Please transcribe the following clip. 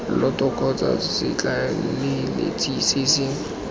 lloto kgotsa setlaleletsi se se